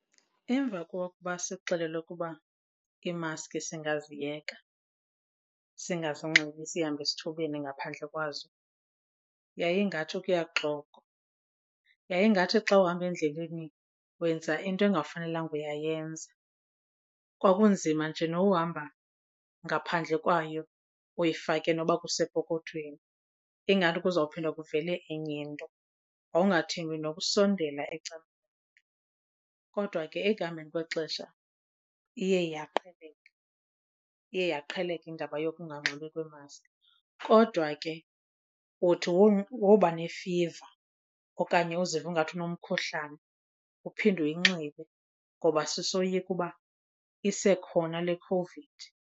Emva kokuba sixelelwe ukuba iimaski singaziyeka singazinxibi sihambe esithubeni ngaphandle kwazo, yayingathi kuyaxokwa. Yayingathi xa uhamba endleleni wenza into bekungafanelanga uba uyayenza, kwakunzima nje nokuhamba ngaphandle kwayo uyifake noba kusepokothweni ingathi kuzophinde kuvele enye into, wawungathembi nokusondela komntu. Kodwa ke ekuhambeni kwexesha iye yaqheleka, iye yaqheleka iindaba yonganxibi kweemaski. Kodwa ke uthi woba neefiva okanye uziva ingathi unomkhuhlani uphinde uyinxibe ngoba sisoyika uba isekhona le COVID.